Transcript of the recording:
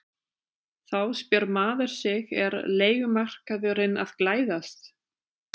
Þá spyr maður sig er leigumarkaðurinn að glæðast?